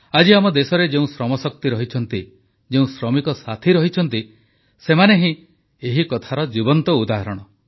ଆଜି ଆମ ଦେଶରେ ଯେଉଁ ଶ୍ରମଶକ୍ତି ରହିଛନ୍ତି ଯେଉଁ ଶ୍ରମିକ ସାଥୀ ରହିଛନ୍ତି ସେମାନେ ହିଁ ଏହି କଥାର ଜୀବନ୍ତ ଉଦାହରଣ